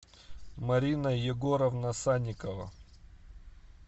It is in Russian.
марина егоровна санникова